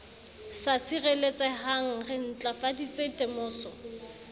sa sireletsehang re ntlafaditse temoso